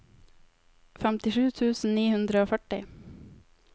femtisju tusen ni hundre og førti